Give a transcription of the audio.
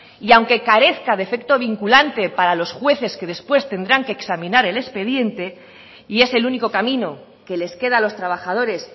y aunque carezca de efecto vinculante para los jueces que después tendrán que examinar el expediente y es el único camino que les queda a los trabajadores